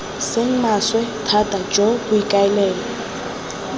seng maswe thata jo boikaelelo